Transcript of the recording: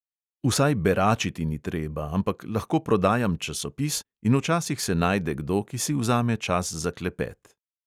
Vsaj beračiti ni treba, ampak lahko prodajam časopis in včasih se najde kdo, ki si vzame čas za klepet.